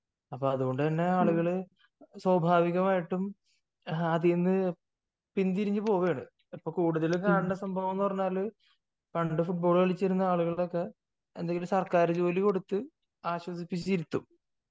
അപ്പൊ അതുകൊണ്ടുതന്നെ ആളുകൾ സ്വാഭാവികമായിട്ടും അതിൽനിന്ന് പിന്തിരിഞ്ഞു പോവുകയാണ് ഇപ്പോൾ കൂടുതൽ കാണുന്ന സംഭവം എന്താണെന്ന് പറഞ്ഞാൽ പണ്ട് ഫൂട്ബാൾ കളിച്ചിരുന്ന ആളുകൾക്കൊക്കെ എന്തെങ്കിലും സർക്കാർ ജോലി കൊടുത്ത് ആശ്വസിപ്പിച്ചിരുത്തും.